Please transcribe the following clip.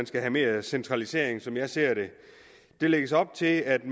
skal have mere centralisering som jeg ser det der lægges op til at